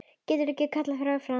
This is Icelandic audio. Getur ekki kallað þær fram.